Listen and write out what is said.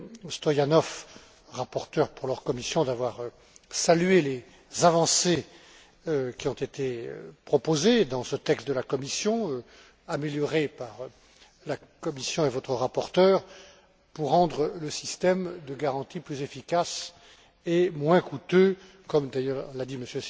Stoyanov, rapporteurs pour leur commission, d'avoir salué les avancées qui ont été proposées dans ce texte de la Commission amélioré par la Commission et votre rapporteur pour rendre le système de garantie plus efficace et moins coûteux comme d'ailleurs l'a dit M.